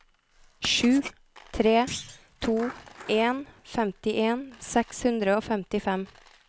sju tre to en femtien seks hundre og femtifem